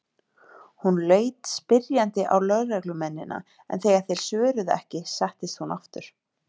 Hún leit spyrjandi á lögreglumennina en þegar þeir svöruðu ekki settist hún aftur.